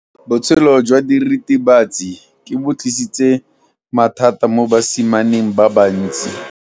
Botshelo jwa diritibatsi ke bo tlisitse mathata mo basimaneng ba bantsi.